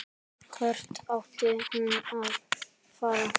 Hvert átti hún að fara?